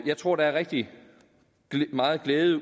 jeg tror der er rigtig megen glæde